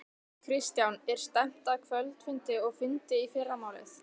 Kristján: Er stefnt að kvöldfundi og fundi í fyrramálið?